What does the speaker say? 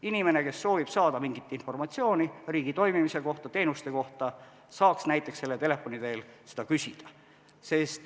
Inimene, kes soovib saada mingit informatsiooni riigi toimimise kohta, teenuste kohta, saaks selle telefoni teel seda küsida.